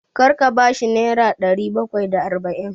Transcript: Kar ka ba shi nera ɗari bakwai da arba'in!